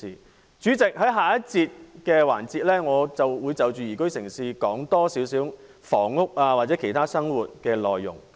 代理主席，在下一個環節我會就宜居城市，多談房屋和其他與生活相關的內容。